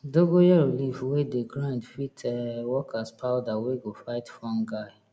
dongoyaro leaf wey dey grind fit um work as powder wey go fight fungi